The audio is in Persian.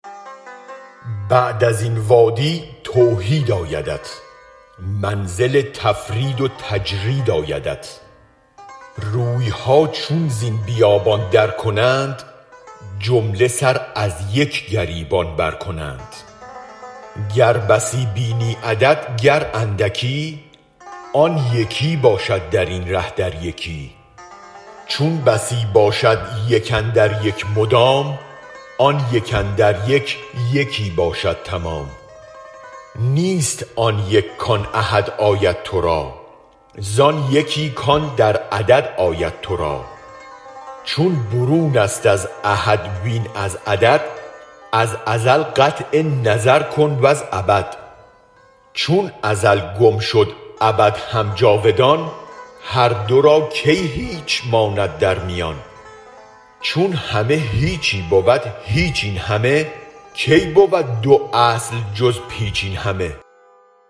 بعد از این وادی توحید آیدت منزل تفرید و تجرید آیدت رویها چون زین بیابان درکنند جمله سر از یک گریبان برکنند گر بسی بینی عدد گر اندکی آن یکی باشد درین ره در یکی چون بسی باشد یک اندر یک مدام آن یک اندر یک یکی باشد تمام نیست آن یک کان احد آید ترا زان یکی کان در عدد آید ترا چون برونست از احد وین از عدد از ازل قطع نظر کن وز ابد چون ازل گم شد ابد هم جاودان هر دو را کی هیچ ماند در میان چون همه هیچی بود هیچ این همه کی بود دو اصل جز پیچ این همه